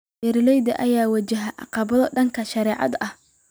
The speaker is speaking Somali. Beeralayda ayaa wajahaya caqabado dhanka sharciga ah.